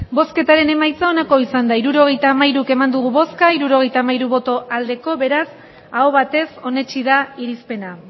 hirurogeita hamabi eman dugu bozka hirurogeita hamabi bai beraz aho batez onetsi da irizpena